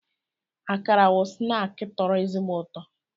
Akara bụ snaakị tọrọ ezigbo ụtọ